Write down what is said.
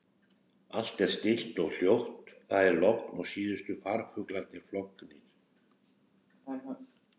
Allt er stillt og hljótt- það er logn og síðustu farfuglarnir flognir.